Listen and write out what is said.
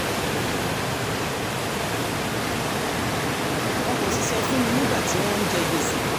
wọn kò sì sọ fún mi nígbà tí wọ́n ń jẹ gbèsè